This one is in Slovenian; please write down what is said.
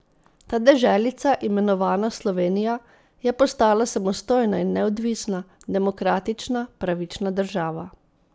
Ta deželica, imenovana Slovenija, je postala samostojna in neodvisna, demokratična, pravična država.